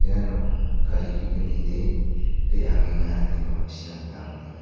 iano gari ge·gnide re·angenga ine ma·sina gita man·enga.